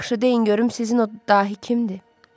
Yaxşı, deyin görüm sizin o dahi kimdir?